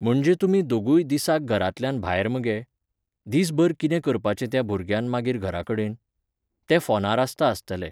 म्हणजे तुमी दोगूय दिसाक घरांतल्यान भायर मगे? दिसभर कितें करपाचे त्या भुरग्यान मागीर घरा कडेन? तें फोनार आसता आस्तलें